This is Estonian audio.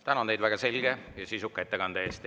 Tänan teid väga selge ja sisuka ettekande eest!